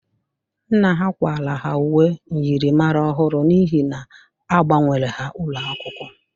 Nna ha kwara ha uwe myịrịmara ọhụrụ n'ihi na agbanwere ha ụlọakwụkwọ.